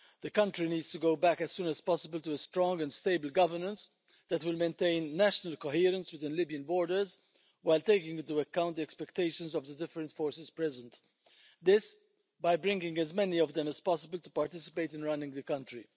The country needs to go back as soon as possible to a strong and stable governance that will maintain national coherence to the Libyan borders while taking into account the expectations of the different forces present this by bringing as many of them as possible to participate in running the country.